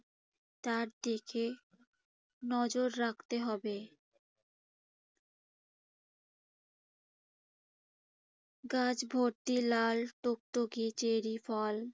তার দিকে নজর রাখতে হবে। গাছ ভর্তি লাল টুকটুকে চেরি ফল